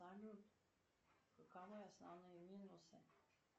салют каковы основные минусы